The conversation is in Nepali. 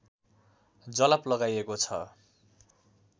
जलप लगाइएको छ